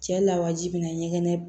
Cɛ lawaji bina ɲɛgɛn